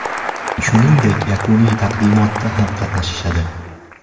Shuningdek, yakuniy taqdimotda ham qatnashishadi.